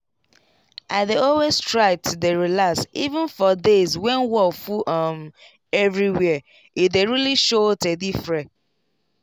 i dey always try to dey relax even for days when wor full um everywhere e dey really show teh diffre